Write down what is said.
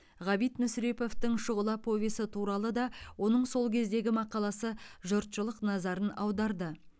ғабит мүсіреповтің шұғыла повесі туралы да оның сол кездегі мақаласы жұртшылық назарын аударды